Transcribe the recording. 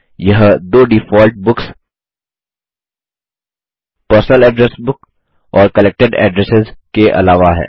यह दो default books personal address book और कलेक्टेड एड्रेस के अलावा है